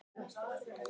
Það veit enginn